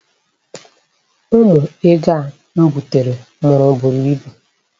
Ụmụ ego a m butere mụrụ buru ibu.